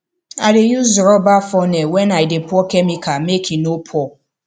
i dey use rubber funnel when i dey pour chemical make e no pour